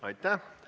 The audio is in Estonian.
Aitäh!